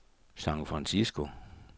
San Francisco